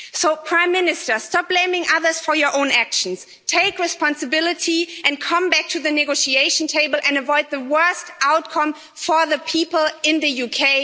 So, Prime Minister, stop blaming others for your own actions, take responsibility and come back to the negotiation table and avoid the worst outcome for the people in the UK.